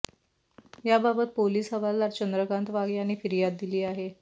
याबाबत पोलिस हवालदार चंद्रकांत वाघ यांनी फिर्याद दिली आहे